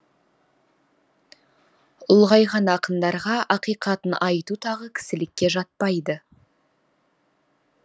ұлғайған ақындарға ақиқатын айту тағы кісілікке жатпайды